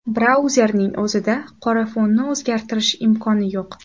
Brauzerning o‘zida qora fonni o‘zgartirish imkoni yo‘q.